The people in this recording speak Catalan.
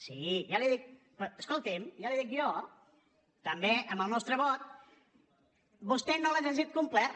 sí ja li ho dic escolti’m ja li ho dic jo també amb el nostre vot vostè no l’ha llegit completa